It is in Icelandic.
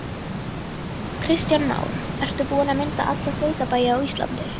Kristján Már: Ertu búin að mynda alla sveitabæi á Íslandi?